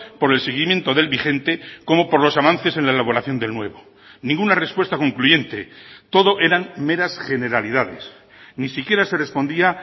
por el seguimiento del vigente como por los avances en la elaboración del nuevo ninguna respuesta concluyente todo eran meras generalidades ni siquiera se respondía